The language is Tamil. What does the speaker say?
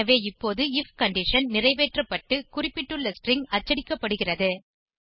எனவே இப்போது ஐஎஃப் கண்டிஷன் ஐ நிறைவேற்றப்பட்டு குறிப்பிட்டுள்ள ஸ்ட்ரிங் ஐ அச்சடிக்கப்படுகிறது